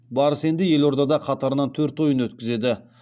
барыс енді елордада қатарынан төрт ойын өткізеді